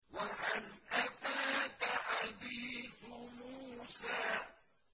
وَهَلْ أَتَاكَ حَدِيثُ مُوسَىٰ